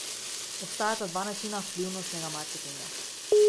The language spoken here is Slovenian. Obstajata dva načina vplivnostnega marketinga.